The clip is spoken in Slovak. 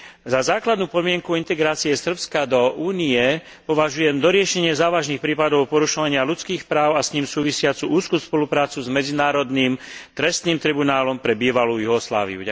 Za základnú podmienku integrácie Srbska do Únie považujem doriešenie závažných prípadov porušovania ľudských práv a s ním súvisiacu úzku spoluprácu s Medzinárodným trestným tribunálom pre bývalú Juhosláviu.